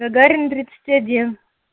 гагарина тридцать один